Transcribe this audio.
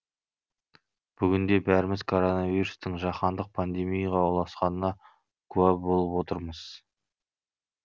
бүгінде бәріміз коронавирустың жаһандық пандемияға ұласқанына куә болып отырмыз